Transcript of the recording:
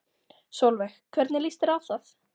Sólveig: Hvernig líst þér á það?